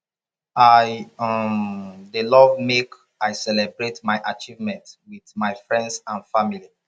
i um dey love make i celebrate my achievement with my friends and family